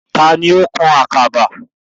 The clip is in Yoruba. Taani ó kan àkàba?